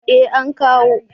eh an kawo